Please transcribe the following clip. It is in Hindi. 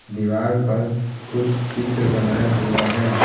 दीवार पर कुछ चित्र बनाए हुए हैं।